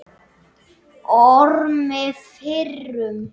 Ormi fyrrum.